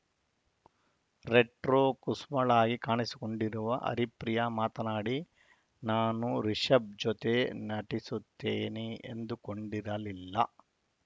retro ಕುಸುಮಳಾಗಿ ಕಾಣಿಸಿಕೊಂಡಿರುವ ಹರಿಪ್ರಿಯ ಮಾತನಾಡಿ ನಾನು ರಿಶಬ ಜೊತೆ ನಟಿಸುತ್ತೇನೆ ಎಂದುಕೊಂಡಿರಲಿಲ್ಲ